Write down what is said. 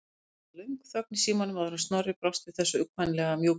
Það varð löng þögn í símanum áður en Snorri brást við þessu, uggvænlega mjúkmáll.